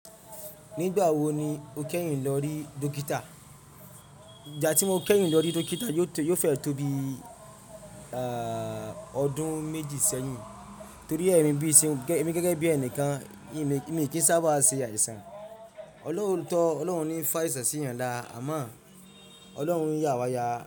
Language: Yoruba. Nígbà wo ni o kẹ́yìn lọ rí dókítà? Ìgbà tí mo kẹ́yìn lọ rí dókítà yóò te yo fẹ tó bí ọdún méjì sẹ́yìn, torí èmi bí iṣẹ́, èmi gẹ́gẹ́ bí ẹnìkan mi kì í sábà ṣe àìsàn. Looto tọ́, Ọlọ́run ní í fa àìsàn sí ènìyàn lara, àmọ́ Ọlọ́run ń yà wa ya.